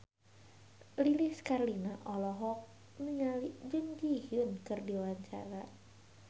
Lilis Karlina olohok ningali Jun Ji Hyun keur diwawancara